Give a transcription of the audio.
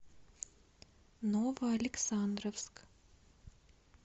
новоалександровск